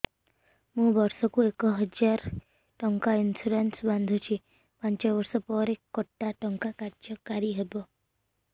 ମୁ ବର୍ଷ କୁ ଏକ ହଜାରେ ଟଙ୍କା ଇନ୍ସୁରେନ୍ସ ବାନ୍ଧୁଛି ପାଞ୍ଚ ବର୍ଷ ପରେ କଟା ଟଙ୍କା କାର୍ଯ୍ୟ କାରି ହେବ